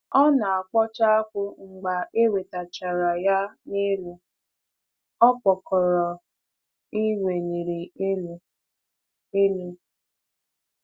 Ọ na-akpọcha akpu mgbe e wetachara ya n'elu okpokoro e weliri elu. elu.